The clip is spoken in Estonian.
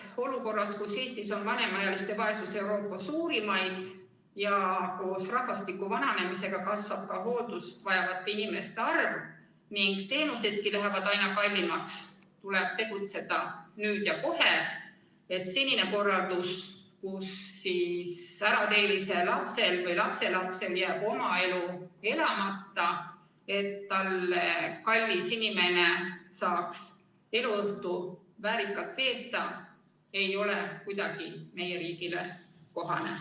Olukorras, kus Eestis on vanemaealiste vaesus üks Euroopa suurimaid ja koos rahvastiku vananemisega kasvab ka hooldust vajavate inimeste arv ning teenusedki lähevad aina kallimaks, tuleb tegutseda nüüd ja kohe, et senine korraldus, kus ärateelise lapsel või lapselapsel jääb oma elu elamata, selleks et talle kallis inimene saaks veeta oma eluõhtu väärikalt, ei ole kuidagi meie riigile kohane.